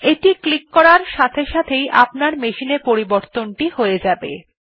এটি ক্লিক করার সাথে সাথেই আপনি আপনার মেশিন এ পরিবর্তনটি দেখতে পাবেন